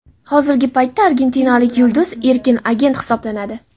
Hozirgi paytda argentinalik yulduz erkin agent hisoblanadi.